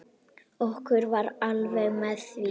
Okkur var alvara með því.